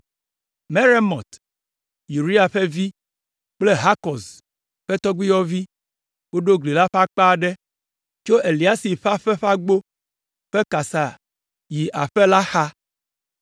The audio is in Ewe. Meremot, Uria ƒe vi kple Hakɔz ƒe tɔgbuiyɔvi, woɖo gli la ƒe akpa aɖe tso Eliasib ƒe aƒe ƒe agbo ƒe kasa yi aƒe la xa.